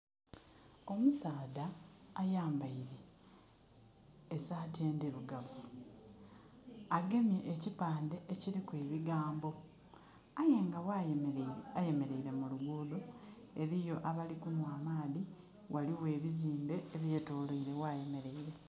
Omusaadha ayambaile esaati endhirugavu agemye ekipande ekiliku ebigambo. Aye nga ghayemeleire, ayemeleire mu luguudho. Eliyo abali kunhwa amaadhi. Ghaligho ebizimbe eby'etoloire ghayemeleire.